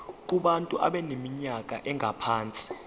kubantu abaneminyaka engaphansi